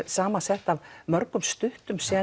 sama sett af mörgum stuttum